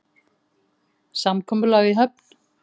Samkomulag í höfn?